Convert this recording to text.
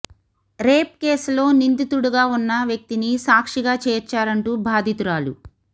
rape కేసులో నిందితుడిగా ఉన్న వ్యక్తిని సాక్షిగా చేర్చారంటూ బాధితురాలి